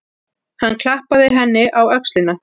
Hann klappaði henni á öxlina.